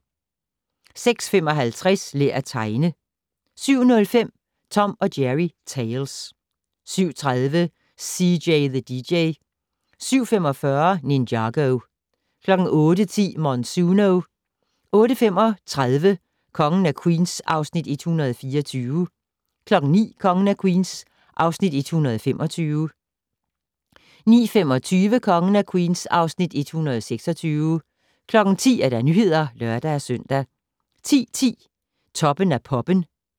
06:55: Lær at tegne 07:05: Tom & Jerry Tales 07:30: CJ the DJ 07:45: Ninjago 08:10: Monsuno 08:35: Kongen af Queens (Afs. 124) 09:00: Kongen af Queens (Afs. 125) 09:25: Kongen af Queens (Afs. 126) 10:00: Nyhederne (lør-søn) 10:10: Toppen af Poppen